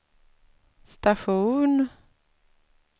station